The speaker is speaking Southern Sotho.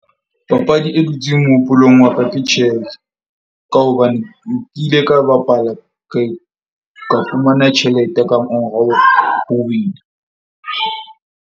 Papadi e dutseng mohopolong wa ka ke chess, ka hobane ke kile ka bapala ka fumana tjhelete ka mora ho win-a.